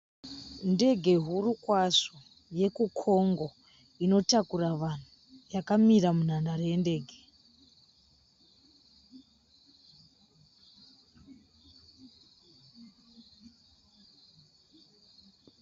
Ndege huru kwazvo yekuCongo inotakura vanhu yakamira munhandare yendege.